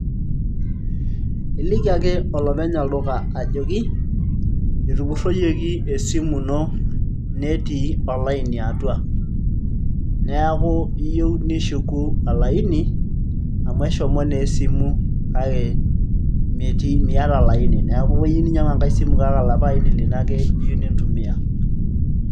iliki ake olopeny olduka ajoki etupurroyioki esimu ino netii olaini atua neeku iyieu nishuku olaini amu eshomo naa esimu kake metii miata olaini neeku iyieu ninyiang'u enkay simu kake olapa aini lino ake iyieu nitumiya.